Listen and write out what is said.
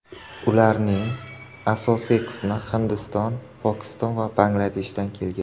Ularning asosiy qismi Hindiston, Pokiston va Bangladeshdan kelgan.